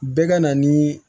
Bɛɛ ka na ni